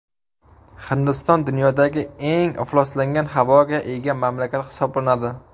Hindiston dunyodagi eng ifloslangan havoga ega mamlakat hisoblanadi.